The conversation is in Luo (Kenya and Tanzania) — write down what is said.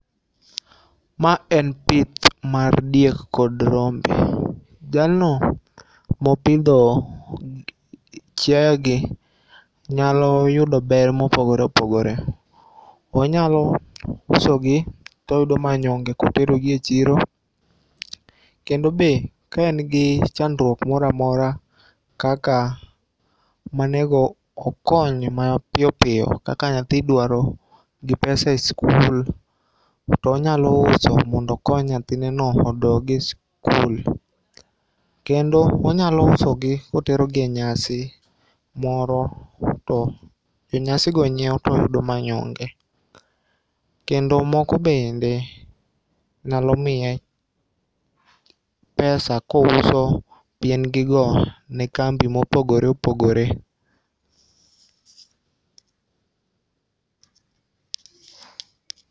Ma en pith mar diek kod rombe, jalno mopitho chiayegi nyalo yudo ber mopogore opogore, onyalo usogi to oyudo manyonge koterogi e chiro, kendo be ka en gi chandruok moro amora kaka ma onigo okony mapiyo piyo kaka nyathi idwaro gi pesa e skul, to onyalo uso mondo okony nyathineno mondo othi e skul, kendo onyalo usogi koterogi e nyasi moro to jo nyasigo nyiewo to oyudo manyonge, kedo moko bende nyalo miye pesa ka ouso piengigo ka otero ne kambi mopogore opogore